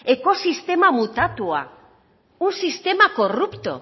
ecosistema mutatuta un sistema corrupto